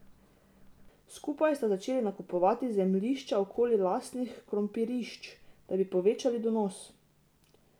Skupaj sta začeli nakupovati zemljišča okoli lastnih krompirišč, da bi povečali donos.